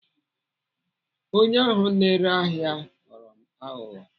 Onye ahụ na-ere ahịa ghọrọ m aghụghọ.